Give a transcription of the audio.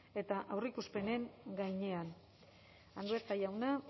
eta aurreikuspenen gainean andueza jauna